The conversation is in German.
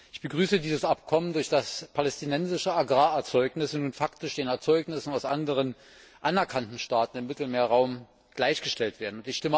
Ich begrüße dieses Abkommen, durch das palästinensische Agrarerzeugnisse nun faktisch den Erzeugnissen aus anderen, anerkannten Staaten im Mittelmeerraum gleichgestellt werden.